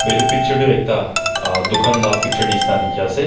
etu picture tu ekta a dukan laga picture nisna dekhi ase.